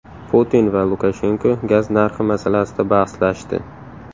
Putin va Lukashenko gaz narxi masalasida bahslashdi.